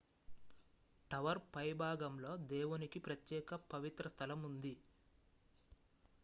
tower పైభాగంలో దేవునికి ప్రత్యేక పవిత్ర స్థలం ఉంది